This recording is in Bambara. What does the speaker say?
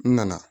N nana